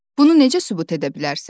"Bunu necə sübut edə bilərsən?"